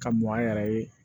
Ka mɔn an yɛrɛ ye